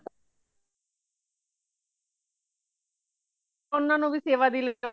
ਉਨ੍ਹਾਂ ਨੂੰ ਵੀ ਸੇਵਾ ਦੀ